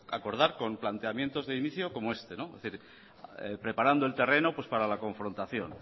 acordar con planteamientos de inicio como este es decir preparando el terreno pues para la confrontación